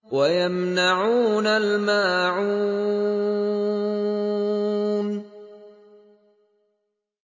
وَيَمْنَعُونَ الْمَاعُونَ